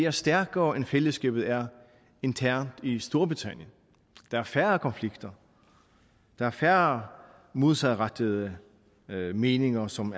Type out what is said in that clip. og stærkere end fællesskabet er internt i storbritannien der er færre konflikter der er færre modsatrettede meninger som